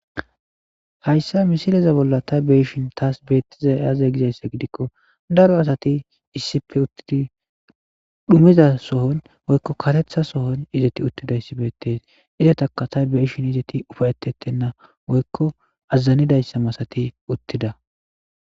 Hayssa misileza bolla ta beishin taas beettiza aze gizayssa gidikko daro asati issipe uttidi dhumiza sohon woykko katetha sohon izeti uttida issi beettes izetaka ta beishin izeti ufayetettenna woykko azazanidayssa masati uttida.